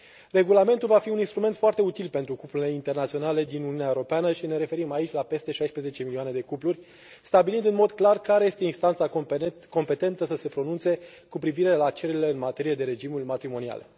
Regulamentul va fi un instrument foarte util pentru cuplurile internaționale din Uniunea Europeană și ne referim aici la peste 16 milioane de cupluri, stabilind în mod clar care este instanța competentă să se pronunțe cu privire la cererile în materie de regimuri matrimoniale.